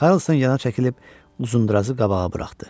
Karson yana çəkilib uzundurazı qabağa buraxdı.